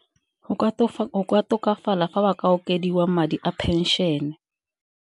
Go ka tokafala fa ba ka okediwa madi a pension.